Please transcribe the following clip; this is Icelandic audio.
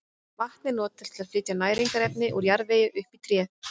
Vatn er notað til að flytja næringarefni úr jarðvegi upp í tréð.